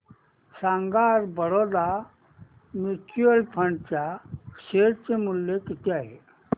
सांगा आज Baroda mutual fund च्या शेअर चे मूल्य किती आहे